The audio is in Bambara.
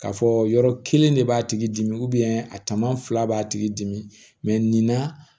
K'a fɔ yɔrɔ kelen de b'a tigi dimi a tama fila b'a tigi dimi nin na